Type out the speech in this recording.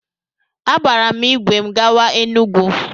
Agbaara m ìgwè m gawa Enugwu.